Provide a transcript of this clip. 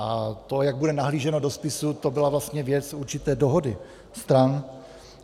A to, jak bude nahlíženo do spisů, to byla vlastně věc určité dohody stran.